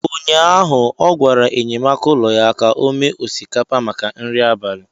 ụnyaahụ, ọ gwara enyemaka ụlọ ya ka o mee osikapa maka nri abalị.